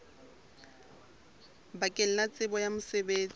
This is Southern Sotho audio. bakeng la tsebo ya mosebetsi